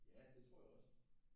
Ja det tror jeg også